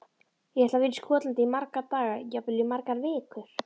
Ég ætla að vera í Skotlandi í marga daga, jafnvel í margar vikur.